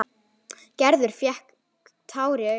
Gerður fékk tár í augun.